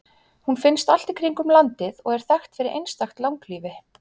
hún finnst allt í kringum landið og er þekkt fyrir einstakt langlífi